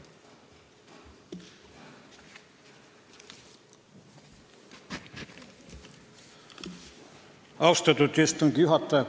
Austatud istungi juhataja!